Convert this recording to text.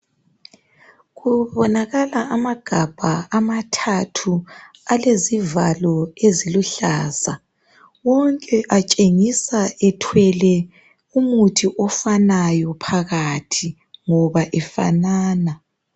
Kubonakala amagabha amathathu alezivalo eziluhlaza wonke atshengisa ethwele umuthi ofanayo phakathi ngoba efanana.